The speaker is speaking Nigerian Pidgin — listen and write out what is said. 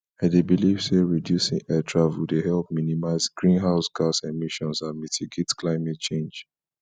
i dey believe say reducing air travel dey help minimize greenhouse gas emissions and mitigate climate change